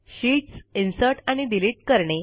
sheets insert आणि delete करणे